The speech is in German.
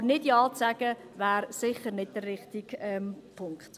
Aber nicht Ja zu sagen, wäre sicher nicht der richtige Punkt.